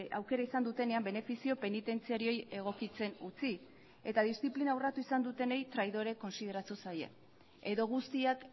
aukera izan dutenean benefizio penitentziarioei egokitzen utzi eta diziplina urratu izan dutenei traidore kontsideratu zaie edo guztiak